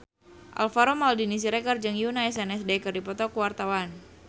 Alvaro Maldini Siregar jeung Yoona SNSD keur dipoto ku wartawan